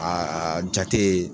jate